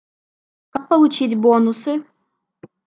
как получить бонусы